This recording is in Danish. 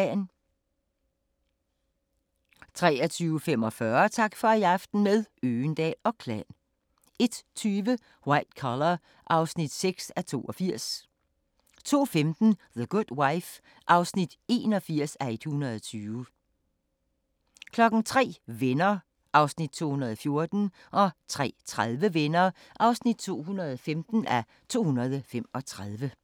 23:45: Tak for i aften – med Øgendahl & Klan 01:20: White Collar (6:82) 02:15: The Good Wife (81:120) 03:00: Venner (214:235) 03:30: Venner (215:235)